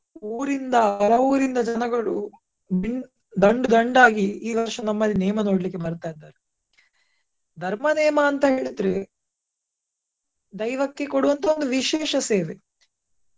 ಊರಿಂದ ಪರವೂರಿಂದ ಜನಗಳು ದಂಡ್ ದಂಡಾಗಿ ಈ ವರ್ಷ ನಮ್ಮಲ್ಲಿ ನೇಮ ನೋಡ್ಲಿಕ್ಕೆ ಬರ್ತಾ ಇದ್ದಾರೆ. ಧರ್ಮ ನೇಮ ಅಂತ ಹೇಳಿದ್ರೆ ದೈವಕ್ಕೆ ಕೊಡುವಂತ ಒಂದು ವಿಶೇಷ ಸೇವೆ.